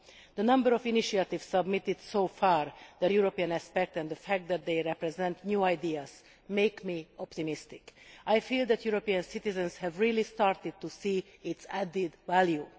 The number of initiatives submitted so far, their European aspect, and the fact that they represent new ideas makes me feel optimistic. I feel that European citizens have really started to see its added value.